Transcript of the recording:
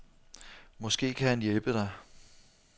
Måske kan han hjælpe dig.